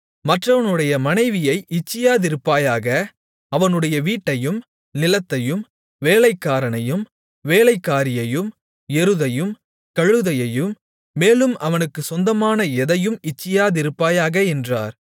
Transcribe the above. மற்றவனுடைய மனைவியை இச்சியாதிருப்பாயாக அவனுடைய வீட்டையும் நிலத்தையும் வேலைக்காரனையும் வேலைக்காரியையும் எருதையும் கழுதையையும் மேலும் அவனுக்குச் சொந்தமான எதையும் இச்சியாதிருப்பாயாக என்றார்